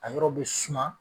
A yɔrɔ be suma